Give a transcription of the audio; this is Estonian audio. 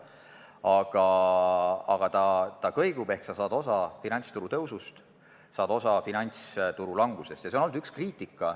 Igal juhul ta kõigub, st sa saad osa nii finantsturu tõusust kui ka finantsturu langusest.